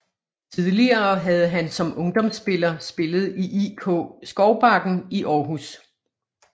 Tidligere havde han som ungdomsspiller spillet i IK Skovbakken i Århus